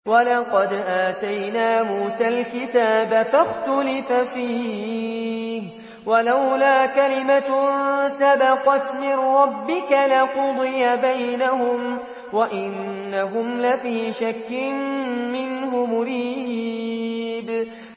وَلَقَدْ آتَيْنَا مُوسَى الْكِتَابَ فَاخْتُلِفَ فِيهِ ۗ وَلَوْلَا كَلِمَةٌ سَبَقَتْ مِن رَّبِّكَ لَقُضِيَ بَيْنَهُمْ ۚ وَإِنَّهُمْ لَفِي شَكٍّ مِّنْهُ مُرِيبٍ